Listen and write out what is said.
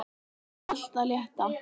Það er allt það létta.